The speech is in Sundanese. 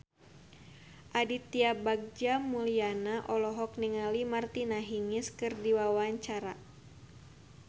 Aditya Bagja Mulyana olohok ningali Martina Hingis keur diwawancara